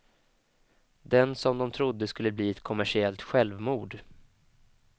Den som de trodde skulle bli ett kommersiellt självmord.